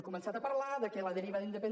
començat a parlar que la deriva de indepen